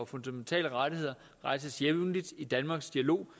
fundamentale rettigheder rejses jævnligt i danmarks dialog